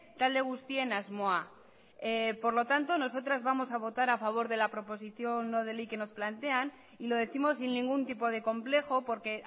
talde guztien asmoa por lo tanto nosotras vamos a votar a favor de la proposición no de ley que nos plantean y lo décimos sin ningún tipo de complejo porque